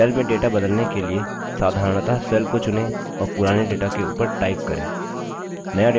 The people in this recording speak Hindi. cell में data बदलने के लिए साधारणतः cell को चुनें और पुराने data के ऊपर type करें